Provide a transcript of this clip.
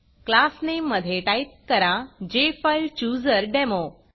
class Nameमधे type करा जेफाईलचूझरडेमो